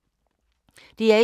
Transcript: DR1